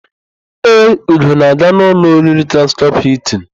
Ee, Ugo na-aga n'ụlọ oriri Transcọp Hịltịn.